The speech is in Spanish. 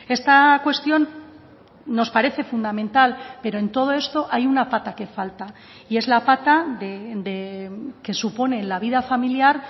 esta cuestión nos parece fundamental pero en todo esto hay una pata que falta y es la pata que supone la vida familiar